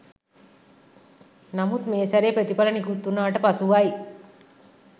නමුත් මේ සැරේ ප්‍රතිඵල නිකුත් වුණාට පසුවයි